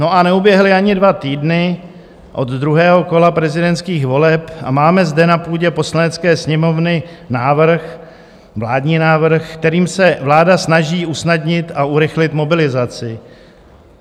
No, a neuběhly ani dva týdny od druhého kola prezidentských voleb a máme zde na půdě Poslanecké sněmovny návrh, vládní návrh, kterým se vláda snaží usnadnit a urychlit mobilizaci.